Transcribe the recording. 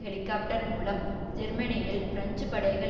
helicopter மூலம் ஜெர்மனியில் French படைகள்